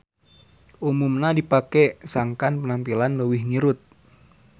Umumna dipake sangkan penampilan leuwih ngirut.